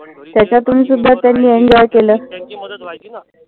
मदत व्हायची ना.